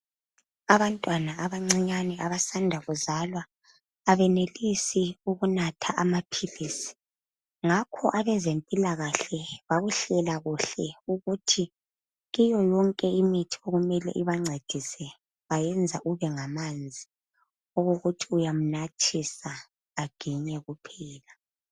Abantwana abancinyane abasanda kuzalwa, abenelisi ukunatha amaphilisi. Ngakho abezempilakahle bakuhlela kuhle ukuthi kiyo yonke imithi okumele ibancedise, bayenza kube ngamanzi okokuthi uyamnathisa, aginye kuphela.